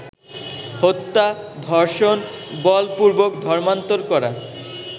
হত্যা, ধর্ষণ, বলপূর্বক ধর্মান্তর করা